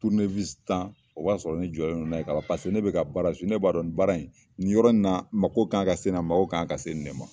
tan o b'a sɔrɔ ne jɔlen n'a ye ka ban, paseke ne bɛ ka baara . Ne b'a dɔn ni baara in, nin yɔrɔ in na mako kan ka se nin ma ,mako kan ka se ne ma.